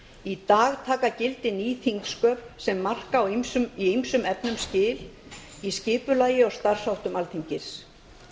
í dag taka gildi ný þingsköp sem marka í ýmsum efnum skil í skipulagi og starfsháttum alþingis